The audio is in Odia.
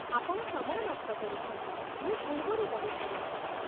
ଆପଣ ସମୟ ନଷ୍ଟ କରୁଛନ୍ତି, ମୁଁ ପୂର୍ବରୁ କହିସାରିଛି